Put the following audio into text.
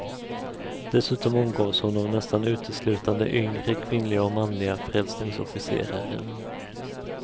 Dessutom omgavs hon av nästan uteslutande yngre kvinnliga och manliga frälsningsofficerare.